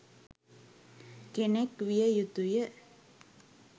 කෙනෙක් විය යුතුය